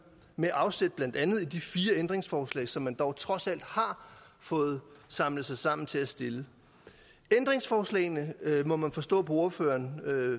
med afsæt blandt andet i de fire ændringsforslag som man dog trods alt har fået samlet sig sammen til at stille ændringsforslagene må man forstå på ordføreren